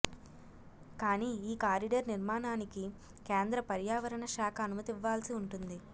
కాని ఈ కారిడార్ నిర్మాణానికి కేంద్ర పర్యావరణ శాఖ అనుమతి ఇవ్వాల్సి ఉంటుంది